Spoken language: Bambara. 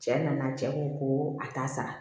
Cɛ nana cɛ ko ko a t'a sara